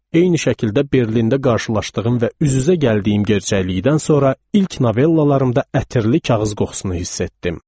Eyni şəkildə Berlində qarşılaşdığım və üz-üzə gəldiyim gerçəklikdən sonra ilk novellalarımda ətirli kağız qoxusunu hiss etdim.